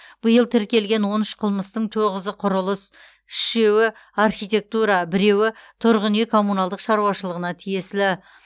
биыл тіркелген он үш қылмыстың тоғызы құрылыс үшеуі архитектура біреуі тұрғын үй коммуналдық шаруашылығына тиесілі